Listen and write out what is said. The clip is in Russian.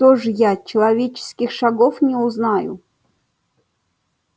что же я человеческих шагов не узнаю